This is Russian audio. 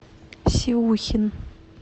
сиухин